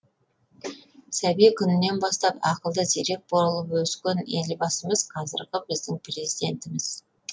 сәби күнінен бастап ақылды зерек болып өскен елбасымыз қазіргі біздің президентіміз